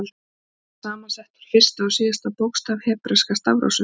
Það er saman sett úr fyrsta og síðasta bókstaf hebreska stafrófsins.